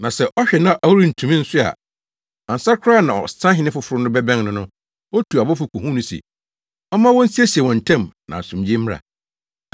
Na sɛ ɔhwɛ na ɔrentumi nso a, ansa koraa na ɔsahene foforo no bɛbɛn no no, otu abɔfo kohu no se, ɔmma wonsiesie wɔn ntam na asomdwoe mmra.